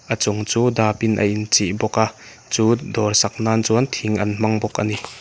a chung chu dap in a in chih bawk a chu dawr sak nan chuan thing an hmang bawk ani.